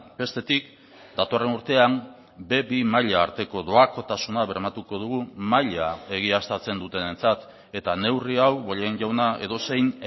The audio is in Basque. bestetik datorren urtean be bi maila arteko doakotasuna bermatuko dugu maila egiaztatzen dutenentzat eta neurri hau bollain jauna edozein